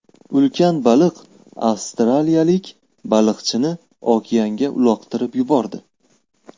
Ulkan baliq avstraliyalik baliqchini okeanga uloqtirib yubordi.